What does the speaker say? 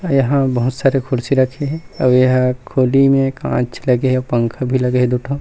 यहाँ बहुत सारी कुर्सी रखे हे अउ एहा खोली म कांच लगे हे अउ पंखा भी लगे हे दु ठो--